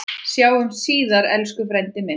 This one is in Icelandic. Sjáumst síðar, elsku frændi minn.